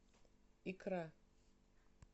икра